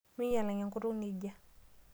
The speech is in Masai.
Minyaal enkutuk nejia.